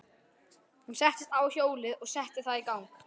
Hún settist á hjólið og setti það í gang.